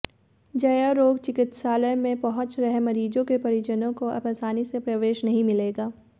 जयारोग्य चिकित्सालय में पहुंच रहे मरीजों के परिजनों को अब आसानी से प्रवेश नहीं मिलेगा